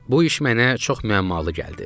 Bu iş mənə çox müəmmalı gəldi.